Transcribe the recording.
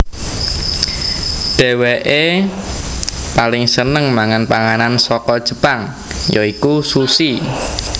Dhéwékeè paling seneng mangan panganan saka Jepang ya iku sushi